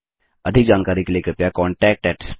अधिक जानकारी के लिए कृपया contactspoken tutorialorg पर लिखें